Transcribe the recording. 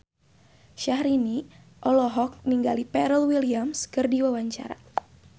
Syahrini olohok ningali Pharrell Williams keur diwawancara